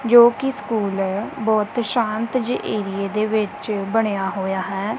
ਜੋ ਕਿ ਸਕੂਲ ਬਹੁਤ ਸ਼ਾਂਤ ਜੇ ਏਰੀਏ ਦੇ ਵਿੱਚ ਬਣਿਆ ਹੋਇਆ ਹੈ।